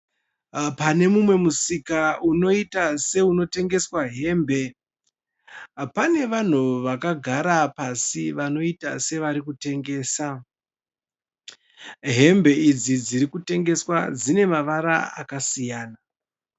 Pane mumwe musika unoita seunotengeswa hembe. Pane vanhu vakagara pasi vanoita sevarikutengesa hembe idzi dzirikutengeswa dzine mavara akasiyana.